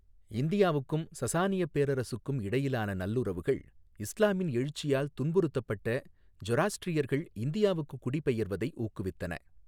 இந்தியாவுக்கும் சசானியப் பேரரசுக்கும் இடையிலான நல்லுறவுகள் இஸ்லாமின் எழுச்சியால் துன்புறுத்தப்பட்ட ஜொராஸ்ட்ரியர்கள் இந்தியாவுக்குக் குடிபெயர்வதை ஊக்குவித்தன.